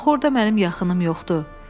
Axı orda mənim yaxınım yoxdur.